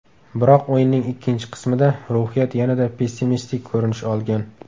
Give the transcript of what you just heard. Biroq o‘yinning ikkinchi qismida ruhiyat yanada pessimistik ko‘rinish olgan.